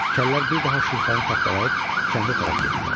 Kəllər bir daha Şirxanı tapdalayıb kəndə tərəf getdilər.